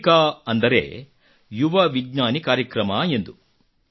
ಯುವಿಕಾ ಅಂದರೆ ಯುವ ವಿಜ್ಞಾನಿ ಕಾರ್ಯಕ್ರಮ ಎಂದು